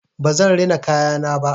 Ba zan rina kayana ba.